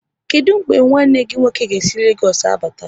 Kedụ mgbe nwanne gị nwoke ga-esi Legoosu bata?